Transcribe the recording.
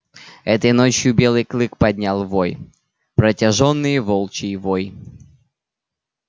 этой ночью белый клык поднял вой протяжный волчий вой